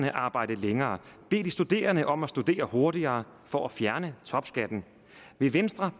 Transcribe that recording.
at arbejde længere bede de studerende om at studere hurtigere for at fjerne topskatten vil venstre